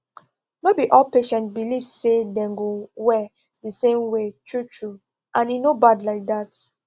no be all patients believe sey dem go well the same way true true and e no bad like that